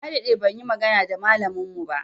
Na daɗe ban yi magana da malamin mu ba.